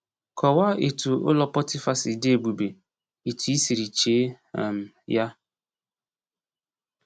Kọwaa etu ụlọ Pọtịfa si dị ebube etu ị siri chee um ya.